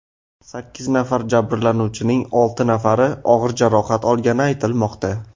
Sakkiz nafar jabrlanuvchining olti nafari og‘ir jarohat olgani aytilmoqda.